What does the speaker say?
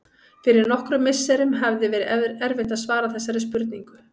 Fyrir nokkrum misserum hefði verið erfitt að svara þessari spurningu.